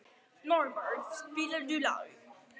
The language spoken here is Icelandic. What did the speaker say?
Norbert, spilaðu lag.